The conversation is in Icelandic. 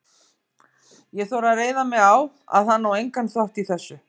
Ég þori að reiða mig á, að hann á engan þátt í þessu.